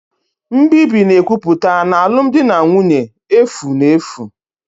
Nbibi na-ekwupụta na alụmdi na nwunye efu na efu